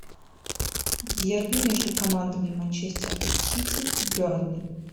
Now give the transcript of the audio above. дерби между командами манчестер сити бернли